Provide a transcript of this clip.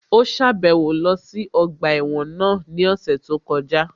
Ó sàbẹ̀wo lọ sí ọgbà ẹ̀wọ̀n náà ní ọ̀sẹ̀ tó kọjá